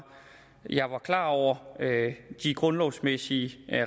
klar over de grundlovsmæssige